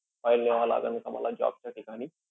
File न्यावं लागन का मला job च्या ठिकाणी?